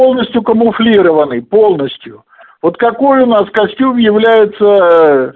полностью камуфлированный полностью вот какой у нас костюм является